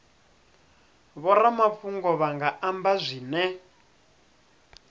vhoramafhungo vha nga amba zwine